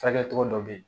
Furakɛli cogo dɔ bɛ ye